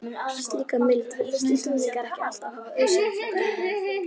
Slíka mildi virðast Íslendingar ekki alltaf hafa auðsýnt flóttamönnum.